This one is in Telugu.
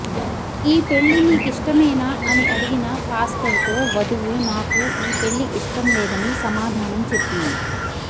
ఈ పెళ్లి నీకిష్టమేనా అని అడిగిన పాస్టర్ తో వధువు నాకు ఈ పెళ్లి ఇష్టం లేదని సమాధానం చెప్పింది